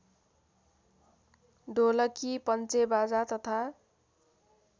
ढोलकी पन्चेबाजा तथा